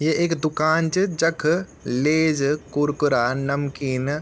ये एक दूकान च जख लेस कुरकुरा नमकीन --